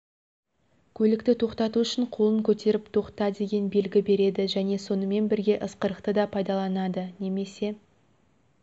көлікті тоқтату үшін қолын көтеріп тоқта деген белгі береді және сонымен бірге ысқырықты да пайдаланады немесе